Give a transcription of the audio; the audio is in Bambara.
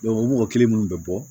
o mɔgɔ kelen minnu bɛ bɔ